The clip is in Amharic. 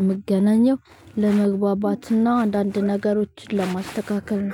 እምገናኘው ለመግባባትና አንዳንድ ነገሮችን ለማስተካከል።